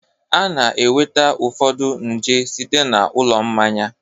A na-enweta ụfọdụ nje site na ụlọ mmanya